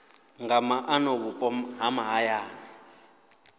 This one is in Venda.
nga maana vhupo ha mahayani